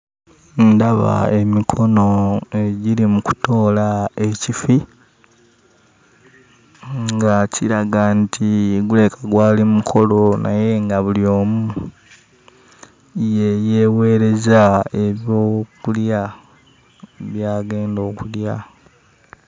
Ndaba emikono egiri mu kutoola ekifi nga kiraga nti gulabika gwali mukolo naye nga buli omu ye yeeweereza ebyokulya by'agenda okulya.